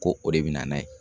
Ko o de be na n'a ye